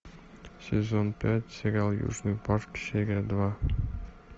сезон пять сериал южный парк серия два